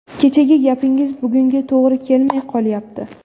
Kechagi gapingiz bugunga to‘g‘ri kelmay qolyapti.